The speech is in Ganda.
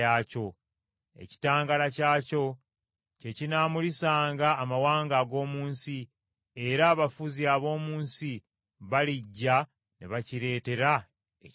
Ekitangaala kyakyo kye kinaamulisanga amawanga ag’omu nsi, era abafuzi ab’omu nsi balijja ne bakireetera ekitiibwa.